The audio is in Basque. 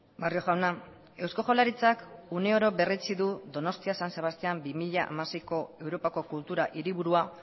barrio jauna eusko jaurlaritzak une oro berretsi du donostia san sebastían bi mila hamaseiko europako kultura hiriburua